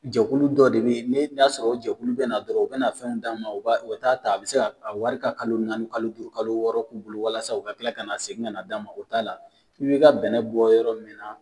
Jɛkulu dɔ de bɛ ne y'a sɔrɔ o jɛkulu bɛna na dɔrɔn u bɛna na fɛn d'a ma u bɛ taa ta a bɛ se ka wari ka kalo naani kalo duuru kalo wɔɔrɔ k'u bolo walasa u ka tila ka na segin ka na d'a ma o t'a la n bɛ n ka bɛnɛ bɔ yɔrɔ min na